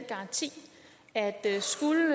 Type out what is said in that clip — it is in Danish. garanti at skulle